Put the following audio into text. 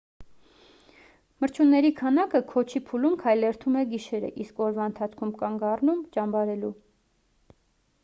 մրջյունների բանակը քոչի փուլում քայլերթում է գիշերը իսկ օրվա ընթացքում կանգ առնում ճամբարելու